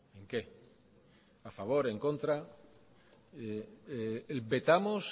en qué a favor en contra vetamos